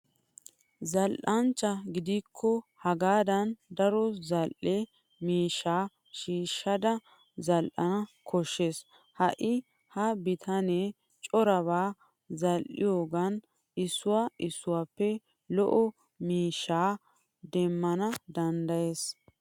Zal"anchcha gidikko hagaadan daro zal'e miishshaa shiishada zal'ana koshshes. Ha'i ha bitaanee corabaa zal'iyoogan issuwa issuwappe lo'o miishshaa demmana danddayes.